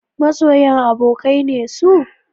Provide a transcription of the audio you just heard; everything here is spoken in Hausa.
Masoyan abokai ne su?